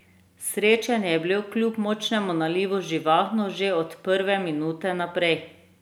Srečanje je bilo kljub močnemu nalivu živahno že od prve minute naprej.